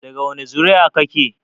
Daga wani zuri'a kake?